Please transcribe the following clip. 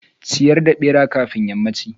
ciyar da bera kafin yammanchi.